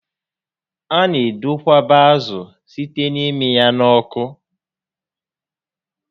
A na edokwaba ázụ site n'ịmị ya n'oku